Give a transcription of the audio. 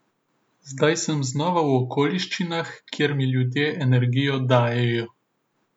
Zdaj sem znova v okoliščinah, kjer mi ljudje energijo dajejo.